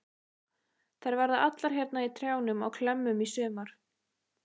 Þær verða allar hérna í trjánum á klemmum í sumar.